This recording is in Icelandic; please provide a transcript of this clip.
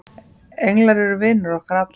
englar eru vinir okkar allra